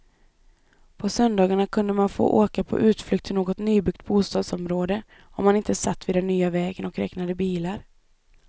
På söndagarna kunde man få åka på utflykt till något nybyggt bostadsområde om man inte satt vid den nya vägen och räknade bilar.